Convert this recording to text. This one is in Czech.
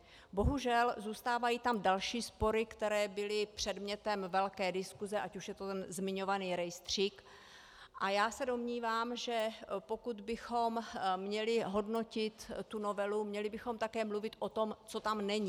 Bohužel, zůstávají tam další spory, které byly předmětem velké diskuse, ať už je to ten zmiňovaný rejstřík, a já se domnívám, že pokud bychom měli hodnotit tu novelu, měli bychom také mluvit o tom, co tam není.